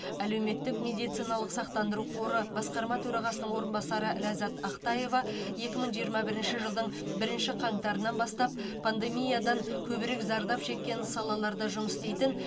әлеуметтік медициналық сақтандыру қоры басқарма төрағасының орынбасары ләззат ақтаева екі мың жиырма бірінші жылдың бірінші қаңтарынан бастап пандемиядан көбірек зардап шеккен салаларда жұмыс істейтін